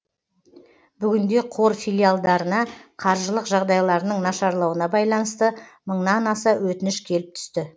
бүгінде қор филиалдарына қаржылық жағдайларының нашарлауына байланысты мыңнан аса өтініш келіп түсті